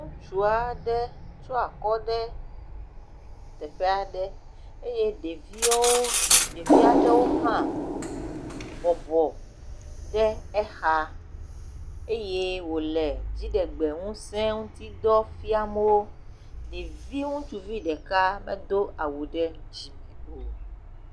Ŋutsu aɖe tsyɔ̃ akɔ ɖe teƒe aɖe eye ɖeviwo.. ɖevi aɖewo hã bɔbɔ ɖe exa eye wòle dziɖegbeŋuse ŋutidɔ fiam wo, ɖevi ŋutsuvi ɖeka medo awu ɖe dzime o.